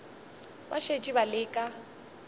ba šetše ba le ka